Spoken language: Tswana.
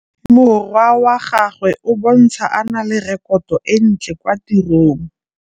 Morwa wa gagwe o bontsha a na le rekoto e ntlê kwa tirông.